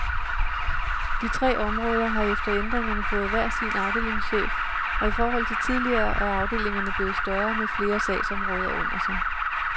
De tre områder har efter ændringerne fået hver sin afdelingschef, og i forhold til tidligere er afdelingerne blevet større med flere sagsområder under sig.